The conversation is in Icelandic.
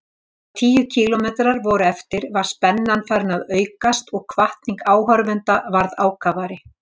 Þegar tíu kílómetrar voru eftir var spennan farin að aukast og hvatning áhorfenda varð ákafari.